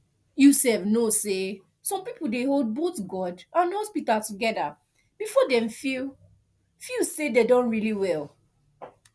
you sef know say some people dey hold both god and hospital together before dem feel feel say dem don really well